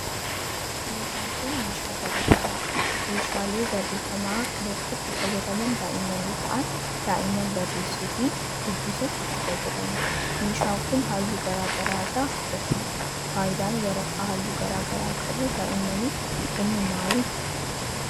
Meshaan kun, meeshaa barreeffamaa dha. Meeshaalee barreeffamaa kanatti kan fayyadaman daa'imman yoo ta'an ,daa'imman barreessuu fi dubbisuuf itti fayyadamu. Meeshaan kun haalluu garaa garaa irraa hojjatame. Faayidaan waraqaa haalluu garaa garaa qabu daa'immammaniif kennu maali?